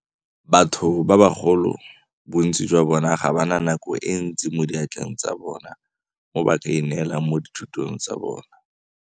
"Batho ba bagolo bontsi jwa bona ga ba na nako e ntsi mo diatleng tsa bona mo ba kaineelang mo dithutong tsa bona."